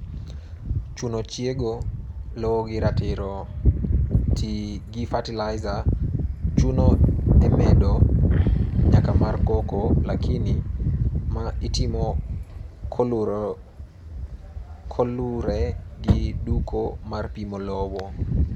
Chuno chiego lowo gi ratiro: tii gi fertilizer chuno e medo nyak mar cocoa, lakini, ma Itimo kolure gi duko mar pimo lowo.